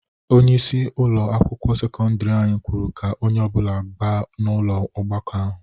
Onyeisi ụlọ akwụkwọ sekọndiri anyị kwuru ka onye ọbụla gaba n'ụlọ ọgbakọ ahụ.